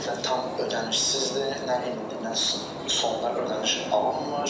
Ümumiyyətlə tam ödənişsizdir, nə endi nə sonradan ödəniş alınmır.